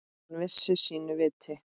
Hann vissi sínu viti.